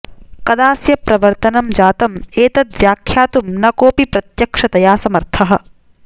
कदास्य प्रवर्तनं जातं एतद् व्याख्यातुं न कोऽपि प्रत्यक्षतया समर्थः